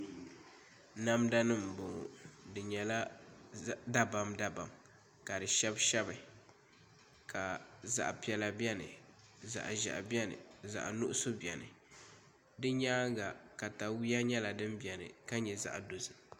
Namda nim n bɔŋɔ di nyɛla dabam dabam ka di shɛbi shɛbi ka zaɣ piɛla biɛni zaɣ ʒiɛhi biɛni zaɣ nuɣso biɛni di nyaanga katawiya nyɛla din biɛni ka nyɛ zaɣ dozim